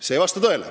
See ei vasta tõele.